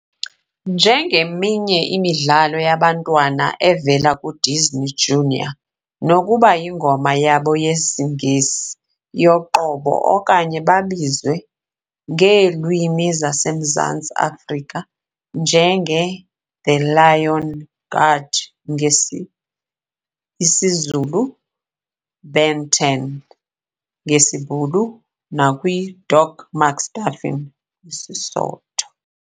Njengeminye imidlalo yabantwana evela ku Disney Junior, nokuba yingoma yabo yesiNgesi yoqobo okanye babizwe ngeelwimi zase Mzantsi Afrika njenge The Lion Guard ngesi isiZulu, Ben 10 ngesiBhulu nakwi Doc McStuffins kwi Sesotho.